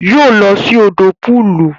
Yoo lọ sí òdò pọọlù